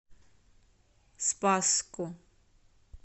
спасску